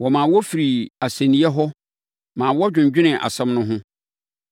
Wɔmaa wɔfirii asɛnniiɛ hɔ ma wɔdwendwenee asɛm no ho.